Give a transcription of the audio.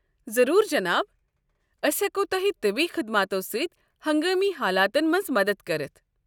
ضروُر جناب۔ أسۍ ہٮ۪کو تۄہہِ طبی خدماتو ستۍ ہنگٲمی حالاتن منٛز مدتھ کٔرِتھ۔